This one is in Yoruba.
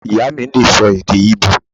Ìyá mí lè sọ èdè íbò